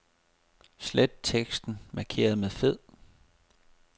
Slet teksten markeret med fed.